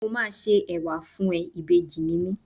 Mo máa ṣe Ẹ̀wà fún ẹ, ìbejì ni mí.